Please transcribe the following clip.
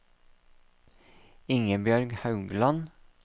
Ingebjørg Haugland